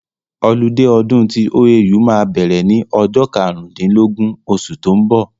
Ọlidé ọdún tí OAU máa bẹ̀rẹ̀ ní ọjọ́ karùn dín lógún osù tó ń bọ̀